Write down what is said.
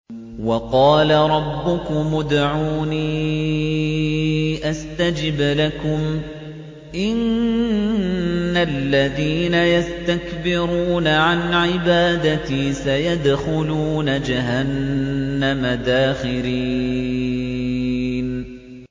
وَقَالَ رَبُّكُمُ ادْعُونِي أَسْتَجِبْ لَكُمْ ۚ إِنَّ الَّذِينَ يَسْتَكْبِرُونَ عَنْ عِبَادَتِي سَيَدْخُلُونَ جَهَنَّمَ دَاخِرِينَ